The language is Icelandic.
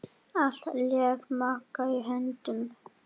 Allt lék Magga í höndum.